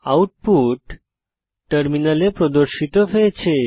output টার্মিনালে প্রদর্শিত হয়েছে